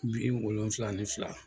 bi wolonfila ni fila.